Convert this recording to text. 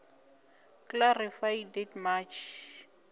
clarify date march